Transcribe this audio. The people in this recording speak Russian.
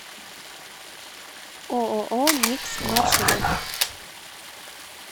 ооо микс маршрут